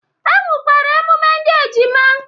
E nwekwara emume ndị ejima